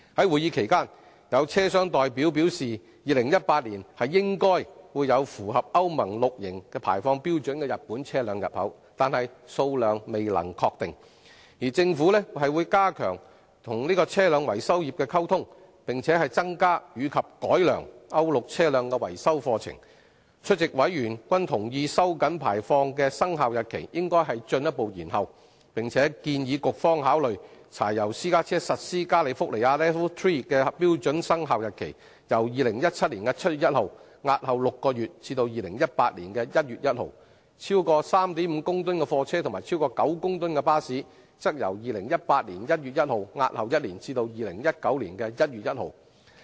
會議期間，有車商代表表示 ，2018 年應該有符合歐盟 VI 期排放標準的日本車輛入口，但數量未能確定，而政府會加強與車輛維修業溝通，並增加及改良歐盟 VI 期車輛的維修課程，出席委員均同意收緊排放的生效日期應進一步延後，並建議局方考慮將柴油私家車實施加利福尼亞 LEV III 標準的生效日期，由2017年7月1日押後6個月至2018年1月1日；而超過 3.5 公噸的貨車和超過9公噸的巴士，則由2018年1月1日押後1年至2019年1月1日。